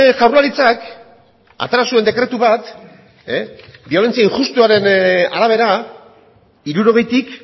jaurlaritzak atera zuen dekretu bat biolentzia injustuaren arabera hirurogeitik